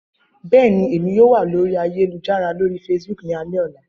Bẹẹni, Emi yoo wa lori ayelujara lori Facebook ni alẹ ọla.